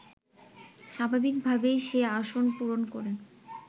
স্বাভাবিকভাবেই সে আসন পূরণ করেন